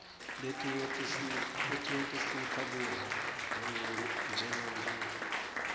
letinye tisipha kudla njengenkhukhu